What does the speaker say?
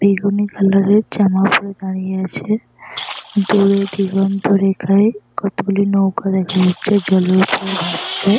বেগুনি কালারের জামা পরে দাড়িয়ে আছে । দূরে দিগন্তরেখায় কতগুলি নৌকা দেখা যাচ্ছে জলের ওপরে ভাসছে ।